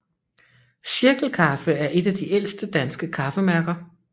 Cirkel Kaffe er et af de ældste danske kaffemærker